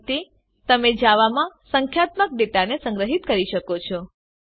આ રીતે તમે જાવામાં સંખ્યાત્મક ડેટાને સંગ્રહીત કરી શકો છો